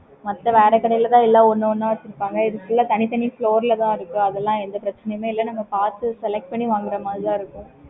okay